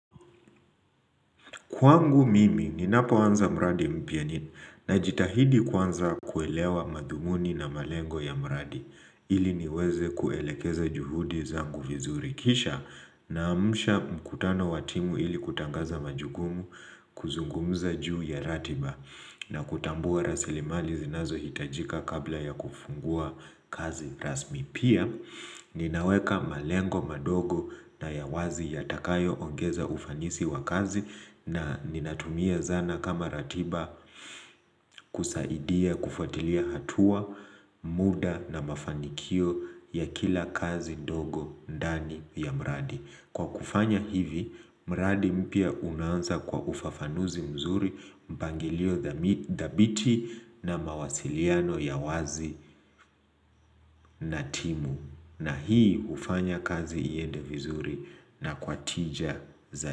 Kwangu mimi, ninapo anza mradi mpya nina jitahidi kwanza kuelewa madhumuni na malengo ya mradi. Ili niweze kuelekeza juhudi zangu vizurikisha na amsha mkutano watimu ili kutangaza majukumu kuzungumza juu ya ratiba na kutambua rasilimali zinazo hitajika kabla ya kufungua kazi rasmi. Pia ninaweka malengo madogo na ya wazi ya takayo ongeza ufanisi wa kazi na ninatumia zana kama ratiba kusaidia kufuatilia hatua muda na mafanikio ya kila kazi ndogo ndani ya mradi. Kwa kufanya hivi, mradi mpya unaanza kwa ufafanuzi mzuri mpangilio dhabiti na mawasiliano ya wazi na timu. Na hii hufanya kazi iende vizuri na kwatija zaidi.